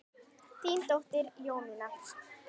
Þín dóttir Jónína.